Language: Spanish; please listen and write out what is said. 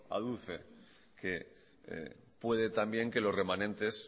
aduce que puede también que los remanentes